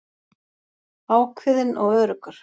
Ákveðinn og öruggur.